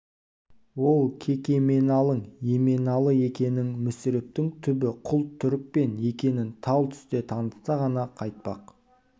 ол кекеменалың еменалы екенің мүсірептің түбі құл түрікпен екенін тал түсте танытса ғана қайтпақ